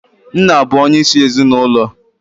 Nna bụ onyeisi ezinụlọ.